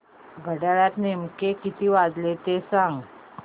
घड्याळात नेमके किती वाजले ते सांग